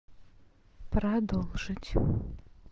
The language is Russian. продолжить